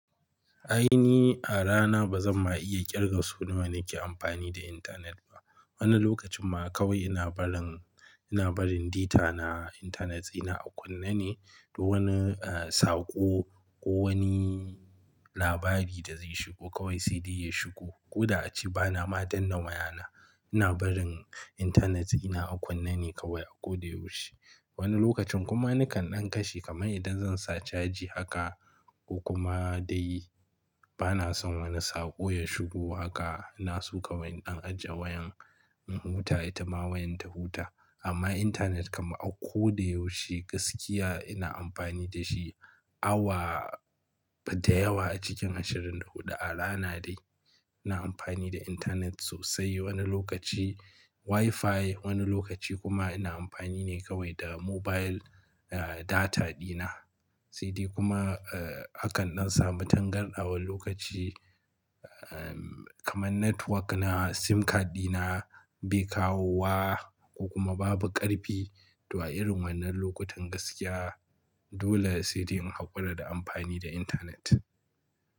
Ai ni a rana ba zan ma iya kirga so nawa nake amfani da intanet ba. Wani lokacin ma kawai ina barin, ina barin data na, intanet ɗina a kunne ne, duk wani, eh, sako ko wani labari da zai shigo kawai sai dai ya shigo. Ko da a ci bana ma danna wayana. Ina barin intanet ina a kunne ne kawai a ko da yaushe. Wani lokacin kuma nakan ɗan kashe kamar idan zan sa caji haka ko kuma dai bana son wani sako ya shigo haka, na so kawai in ɗan ajiye wayan, in huta ita ma wayan ta huta. Amma intanet kam a ko da yaushe gaskiya ina amfani da shi awa da yawa a cikin ashirin da huɗu a rana dai. Ina amfani da intanet sosai wani lokaci WiFi, wani lokaci kuma ina amfani ne kawai da mobile, eh, data dina. Sai dai kuma, eh, akan dan samu tangarta wani lokaci, ahn, kamar network na, SIM card dina bai kawowa ko kuma babu ƙarfi. To a irin wannan lokutan gaskiya dole sai dai in hakura da amfani da intanet.